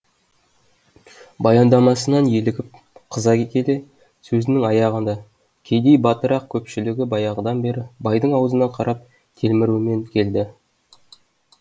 баяндамасынан елігіп қыза келе сөзінің аяғында кедей батырақ көпшілігі баяғыдан бері байдың аузына қарап телмірумен келді